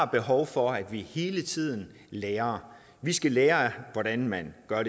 behov for at vi hele tiden lærer vi skal lære af hvordan man gør